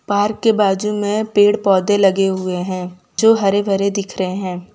Park के बाजू में पेड़ पौधे लगे हुए हैं जो हरे भरे दिख रहे हैं।